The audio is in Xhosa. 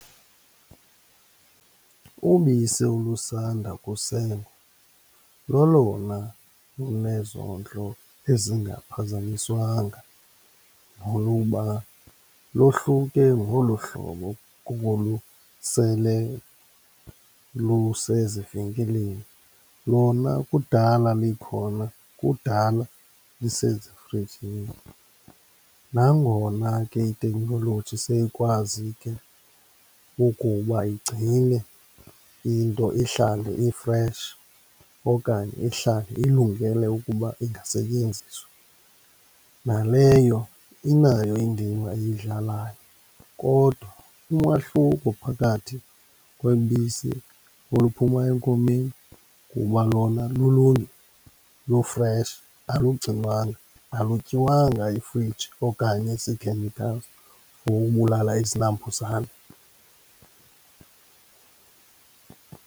Ubisi olusanda kusengwa lolona lunezondlo ezingaphazanyiswanga noluba lohluke ngolo hlobo kolu sele lusezivenkileni. Lona kudala likhona kudala lusezifrijini nangona ke iteknoloji seyikwazi ke ukuba igcine into ihlale i-fresh okanye ihlale ilungele ukuba ingasetyenziswa. Naleyo inayo indima eyidlalayo kodwa umahluko phakathi kwebisi oluphuma enkomeni kuba lulungile, lu-fresh, alugcinwanga, alutyiwanga yifriji okanye zii-chemicals for ubulala izinambuzane.